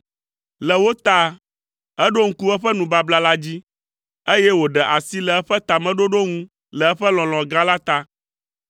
le wo ta, eɖo ŋku eƒe nubabla la dzi, eye wòɖe asi le eƒe tameɖoɖo ŋu le eƒe lɔlɔ̃ gã la ta.